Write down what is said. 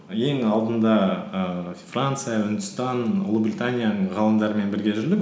ең алдында ііі франция үндістан ұлыбританияның ғалымдарымен бірге жүрдік